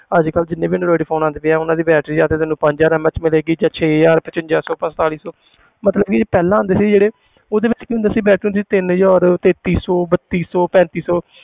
ਅੱਜ ਕੱਲ੍ਹ ਜਿੰਨੇ ਵੀ android phone ਆਉਂਦੇ ਪਏ ਹੈ ਉਹਨਾਂ ਦੀ battery ਜਾਂ ਤੇ ਤੈਨੂੰ ਪੰਜ ਹਜ਼ਾਰ MAH ਮਿਲੇਗੀ ਜਾਂ ਛੇ ਹਜ਼ਾਰ, ਪਚਵੰਜਾ ਸੌ ਪੰਤਾਲੀ ਸੌ ਮਤਲਬ ਕਿ ਪਹਿਲਾਂ ਆਉਂਦੇ ਸੀ ਜਿਹੜੇ ਉਹਦੇ ਵਿੱਚ ਕੀ ਹੁੰਦਾ ਸੀ battery ਹੁੰਦੀ ਤਿੰਨ ਹਜ਼ਾਰ ਤੇਤੀ ਸੌ ਬੱਤੀ ਸੌ ਪੈਂਤੀ ਸੌ